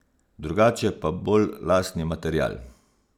Drugače pa bolj lastni material.